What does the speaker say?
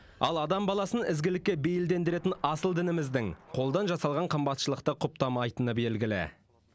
ал адам баласын ізгілікке бейілдендіретін асыл дініміздің қолдан жасалған қымбатшылықты құптамайтыны белгілі